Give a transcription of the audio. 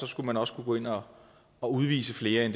skulle man også kunne gå ind og og udvise flere end